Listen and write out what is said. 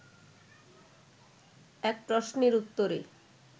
এক প্রশ্নের উত্তরে